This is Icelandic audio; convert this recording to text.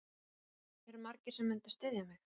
Eru margir sem myndu styðja mig?